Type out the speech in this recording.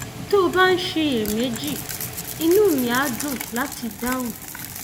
tó o bá ń ṣiyèméjì inú mi á dùn láti dáhùn